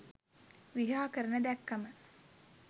විහාකරන දැක්කම